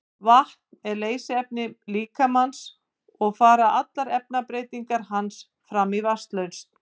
vatn er leysiefni líkamans og fara allar efnabreytingar hans fram í vatnslausn